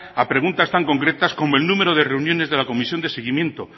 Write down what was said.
a preguntas tan concretas como el número de reuniones de la comisión de seguimiento